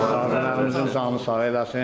Allah əsgərimizin canı sağ eləsin.